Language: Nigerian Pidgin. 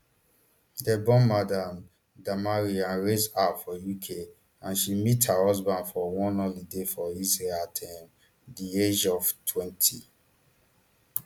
dem born madam damari and raised her for uk and she meet her husband for one holiday for israel at um di age of twenty